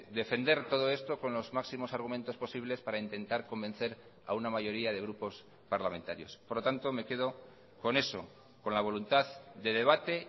defender todo esto con los máximos argumentos posibles para intentar convencer a una mayoría de grupos parlamentarios por lo tanto me quedo con eso con la voluntad de debate